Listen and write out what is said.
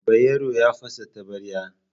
Bayero ya fasa taɓarya.